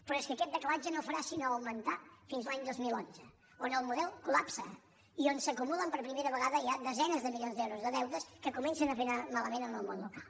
però és que aquest decalatge no farà sinó augmentar fins a l’any dos mil onze on el model es col·primera vegada ja desenes de milions d’euros de deutes que comencen a fer anar malament el món local